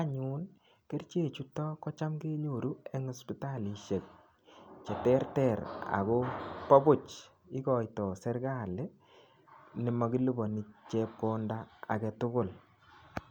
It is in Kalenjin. anyun kerchechuto cham kenyoru eng hospitalishek cheterter Ako bo Puch ikoitoi serikali nemakiluponi chepkonda agetugul.